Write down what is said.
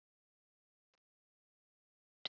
Kær kveðja, Áróra og Jenný.